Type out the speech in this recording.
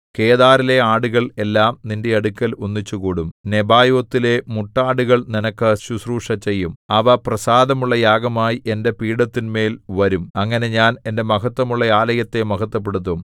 കേദാരിലെ ആടുകൾ എല്ലാം നിന്റെ അടുക്കൽ ഒന്നിച്ചുകൂടും നെബായോത്തിലെ മുട്ടാടുകൾ നിനക്ക് ശുശ്രൂഷ ചെയ്യും അവ പ്രസാദമുള്ള യാഗമായി എന്റെ പീഠത്തിന്മേൽ വരും അങ്ങനെ ഞാൻ എന്റെ മഹത്ത്വമുള്ള ആലയത്തെ മഹത്ത്വപ്പെടുത്തും